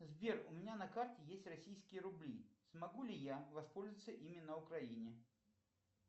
сбер у меня на карте есть российские рубли смогу ли я воспользоваться ими на украине